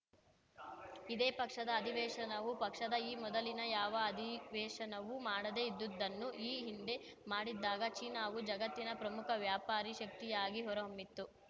ಇದೇ ಪಕ್ಷದ ಅಧಿವೇಶನವು ಪಕ್ಷದ ಈ ಮೊದಲಿನ ಯಾವ ಅಧಿವೇಶನವೂ ಮಾಡದೆ ಇದ್ದುದನ್ನು ಈ ಹಿಂದೆ ಮಾಡಿದ್ದಾಗ ಚೀನಾವು ಜಗತ್ತಿನ ಪ್ರಮುಖ ವ್ಯಾಪಾರಿ ಶಕ್ತಿಯಾಗಿ ಹೊರಹೊಮ್ಮಿತ್ತು